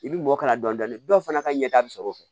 I bi mɔ kala dɔni dɔni dɔw fana ka ɲɛta bɛ sɔrɔ o fɛ